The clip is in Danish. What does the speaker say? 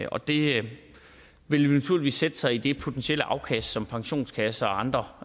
og det vil naturligvis potentielt sætte sig i det potentielle afkast som pensionskasser og andre